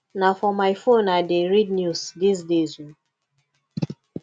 na for my phone i dey read news dese days o